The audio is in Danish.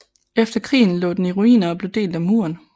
Efter krigen lå den i ruiner og blev delt af muren